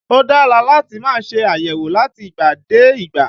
Ó dára láti máa ṣe àyẹ̀wò láti ìgbà dé ìgbà